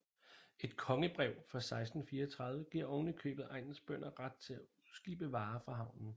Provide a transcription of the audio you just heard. Et kongebrev fra 1634 giver oven i købet egnens bønder ret til at udskibe varer fra havnen